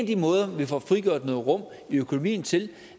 de måder vi får frigjort noget råderum i økonomien til